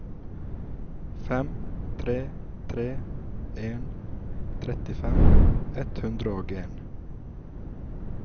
fem tre tre en trettifem ett hundre og en